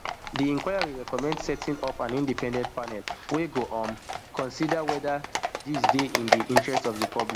di inquiry recommend setting up an independent panel wey go um consider whether dis dey in di interest of di public